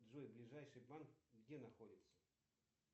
джой ближайший банк где находится